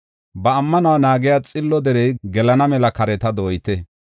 Ba ammanuwa naagiya xillo derey, gelana mela kareta dooyite.